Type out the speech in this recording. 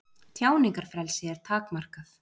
Tjáningarfrelsi er takmarkað